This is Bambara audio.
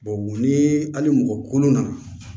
ni hali mɔgɔ kolon na